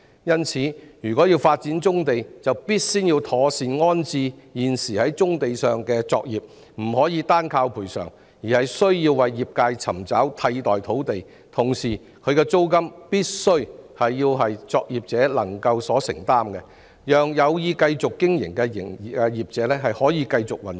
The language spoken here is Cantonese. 因此，如果要發展棕地，必先要妥善安置現時在棕地上的作業，不能單靠賠償，而是需要為業界尋找替代土地，同時其租金必須為作業者所能承擔，讓有意繼續經營的作業者繼續運作。